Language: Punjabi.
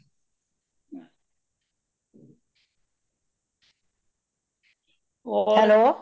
hello